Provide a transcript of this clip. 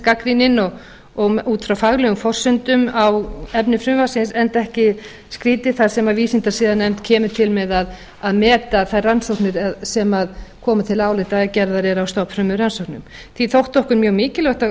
gagnrýnin og út frá faglegum forsendum á efni frumvarpsins enda ekki skrýtið þar sem vísindasiðanefnd kemur til með að meta þær rannsóknir sem komu til áliti eða gerðar eru á stofnfrumurannsókna því þótti okkur mjög mikilvægt að